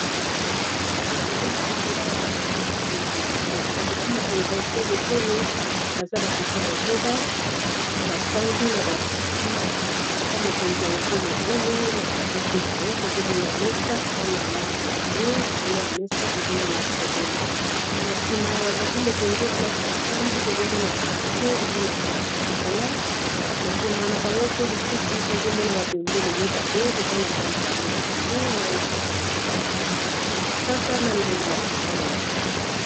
awa ezali lisanga ya batata mokonzi ya ekolo batata mokonzi ya ekolo oyo baza batata motoba bafandi na bakiti batata mokonzi ya ekolo oyo na katikati na bango tozomona mesa eza na langi ya bwe likolo ya mesa tozomona na sima ya batata mokonzi oyo place bafandi tozomona ekuke eza na langi ya chokola na sima na bango pe lisusu tozomona babendele mibale eza na langi ya mai ya pondu na balangi ya mosaka na langi ya motane.